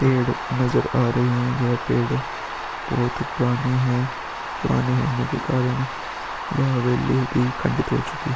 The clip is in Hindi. पेड़ नजर आ रहे हैं यह पेड़ बहोत पुराने हैं। पुराने होने के कारण यह हवेली भी खंडित हो चुकी --